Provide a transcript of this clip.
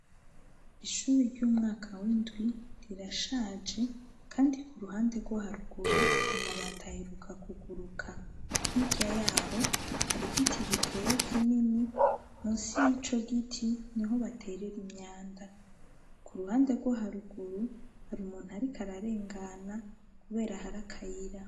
Ishuri ry'umwaka w'indwi ,rirashaje kandi k'uruhande rwo haruguru amabati aheruka kuguruka, hirya yaho har'igiti giteye kinini ,munsi y'ico giti niho baterera imyanda, k'uruhande rwo haruguru har'umuntu ariko ararengana, kubera har'akayira.